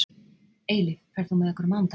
Eilíf, ferð þú með okkur á mánudaginn?